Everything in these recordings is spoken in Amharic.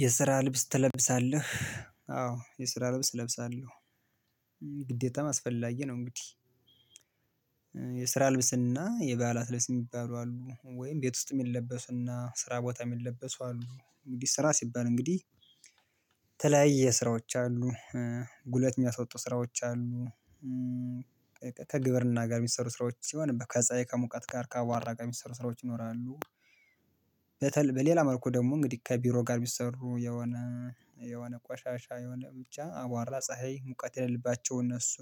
የስራ ልብስ ትለብሳለህ አዎ የስራ ልብስ እለብሳለሁ። ግዴታም አስፈላጊ ነው እንግዲህ። የስራ ልብስና የበዓላት ልብስ የሚባሉ አሉ ወይም ቤት ውስጥ የሚለበሱና ስራ ቦታ የሚለበሱ አሉ እንግዲህ ስራ ሲባል እንግዲህ የተለያየ ስራዎች አሉ ጉለት የሚያስወጡ ስራዎች አሉ። ከግብርና ጋር የሚሰሩ ስራዎች ሲሆን ከፀሀይ ከሙቀት ጋር ከአቧራ ጋር የሚሰሩ ስራዎች ይኖራሉ። በሌላ መልኩ ደግሞ እንግዲህ ከቢሮ ጋር ቢሰሩ የሆነ የሆነ ቋሻሻ የሆነ ብቻ አቧራ ፀሀይ ሙቀት የሌለባቸው እነሱ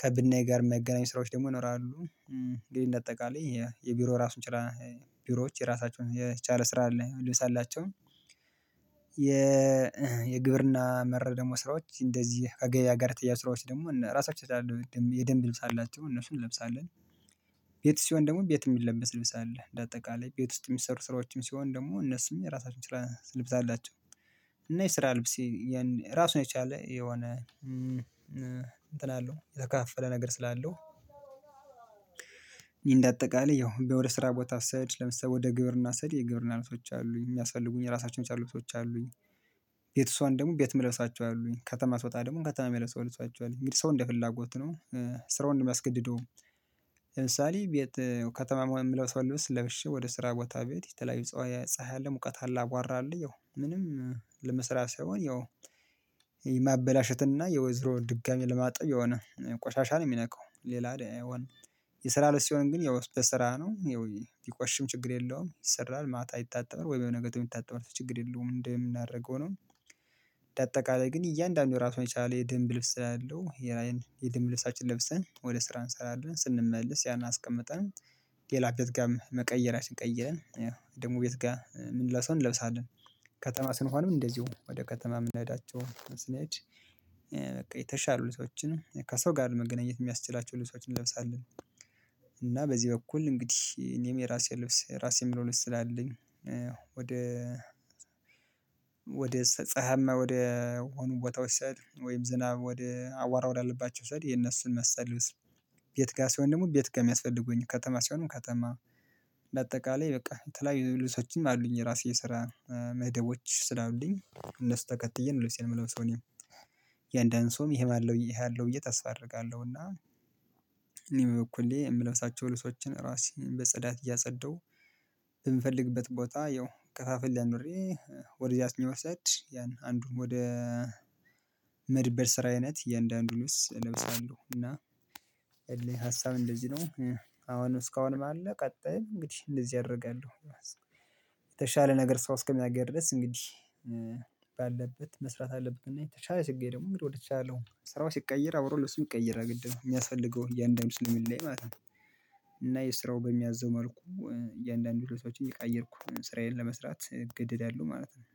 ከብናኝ ጋር መገናኘት ስራዎች ደግሞ ይኖራሉ። እንግዲህ እንደ አጠቃላይ የቢሮ ራሱን ችላ ቢሮዎች የራሳቸውን የቻለ ስራ አለ ልብስ አላቸው። የ የግብርና መረብ ደግሞ ስራዎች እንደዚህ ከገበያ ጋር ተያይዞ ስራዎች ደግሞ ራሳቸውን አላቸው የደንብ ልብስ አላቸው እነሱን ለብስአለን ቤት ሲሆን ደግሞ ቤት የሚለበስ ልብስ አለ። ልብስ አላቸው እና የስራ ልብስ እራሱን የቻለ የሆነ የተከፋፈለ ነገር ስላለው። እንደአጠቃላይ ቤት ወደ ስራ ቦታ ስሄድ ለምሳሌ ወደ ግብርና ስሄድ የግብርና ልብሶች አሉኝ የሚያስፈልጉኝ የራሳቸውን ያቻሉ ልብሶች አሉኝ። ቤት ስሆን ደግሞ ቤት የምለብሳቸው አሉኝ ከተማ ስወጣ ደግሞ ከተማ የሚለብሰው ልብሶች አሉኝ የሚል ሰው እንደ ፍላጎት ነው። ስራውን የሚያስገድደው ለምሳሌ ቤት ከተማ የምለብሰው ልብስ ለብሼ ወደ ስራ ቦታ ቤት የተለያዩ ፀሀይ አለ ሙቀት አለ አቧራ አለ ያው ምንም ለመስራት ሳይሆን ያው የማበላሸትና ያው ዞሮ ድጋሜ ለማጠብ የሆነ ቆሻሻ ነው የሚነካው ሌላ። የስራ ልብስ ሲሆን ያው ግን የስራ ነው ቢቆሽሽም ችግር የለዉም ይሰራል ማታ አይታጠብም ወይ በመነጋታው የሚታጠብም ችግር የለውም እንደምናደርገው ነው። እንደአጠቃላይ ግን እያንዳንዱ ራሱን የቻለ የደንብ ልብስ አለው ያይን የደንብ ልብሳችን ለብሰን ወደ ስራ እንሰራለን ስንመልስ ያን አስቀመጠን። ሌላ ቤትጋም መቀየራችን ቀይረን ያው ደግሞ ቤት ጋር የምንለብሰዉን እንለብሳለን ከተማ ስንሆንም እንደዚሁ ወደ ከተማ የምንሄዳቸው ስንሄድ በቃ የተሻሉ ልብሶችን ከሰው ጋር መገናኘት የሚያስችላቸው ልብሶችን እንለብሳለን። እና በዚህ በኩል እንግዲህ እኔም የራሴ ልብስ የራሴ የምለው ልብስ ስላለኝ። ወደ ፀሀያማ ቦታዎች ሳይል ወይም ዝናብ ወደ አቧራ ወዳለባቸው ሳሄድ የነሱን መሰል ልብስ ቤት ጋር ሲሆን ደግሞ ቤት ጋር የሚያስፈልጉኝ ከተማ ሲሆንም ከተማ በአጠቃላይ በቃ የተለያዩ ልብሶችም አሉኝ። የራሴ የስራ መደቦች ስላሉኝ እነሱን ተከትዬ ነው ልብሴን የምለብሰው እኔም እያንዳንዱ ሰውም ይሄ ማለው ይሄ አለው ብዬ ተስፋ አደርጋለሁ። እና እኔም በኩሌ የምለብሳቸው ልብሶችን ራሴን በጸዳት እያጸደው በምፈልግበት ቦታ ያው ከፋፍሌ አኑሬ ወደዚህ አስኜ መሰድ ያን አንዱን ወደ መድበር ስራ አይነት የእንዳአንዱን ልብስ እለብሳለሁ እና። ሀሳብ እንደዚህ ነው አሁንም እስካሁንም አለ ቀጥይም እንግዲህ እንደዚህ አደርጋለሁ። የተሻለ ነገር ሰው እስከሚያገኝ ድረስ እንግዲህ ባለበት መስራት አለበት እና የተሻለ ስገኝ ደግሞ እንግድ ወደተሻለው ስራው ሲቀየር አብረው ለብሱም ይቀየራል ግድ ነው የሚያስፈልገው እያንዳንዱ ስለሚለያይ ማለት ነው። እና የስራው በሚያዘው መልኩ እያንዳንዱ ልብሶችን እየቀያየርኩ ስራዬን ለመስራት እገደዳለሁ ማለት ነው።